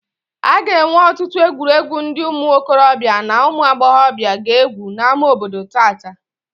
A ga-enwe ọtụtụ egwuregwu ndị ụmụ okorobịa na ụmụ agbọghọbịa ga-egwu n'ámá obodo tata